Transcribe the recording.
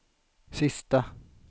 sista